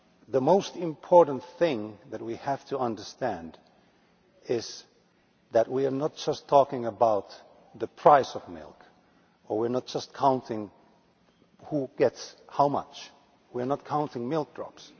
The most important thing that we have to understand is that we are not just talking about the price of milk or counting who gets how much we are not counting milk drops.